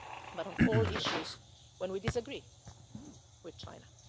on trade but on all issues, when we disagree with